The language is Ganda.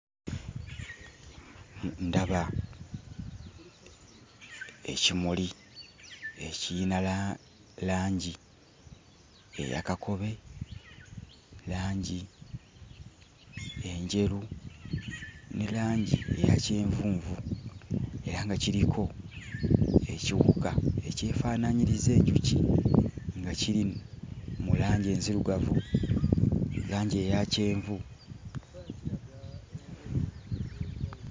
Ndaba ekimuli ekiyina la langi eya kakobe, langi enjeru ne langi eya kyenvunvu era nga kiriko ekiwuka ekyefaanaanyiriza enjuki nga kiri mu langi enzirugavu, langi eya kyenvu.